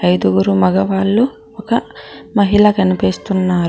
ఐదుగురు మగవాళ్ళు ఒక మహిళ కనిపిస్తున్నారు.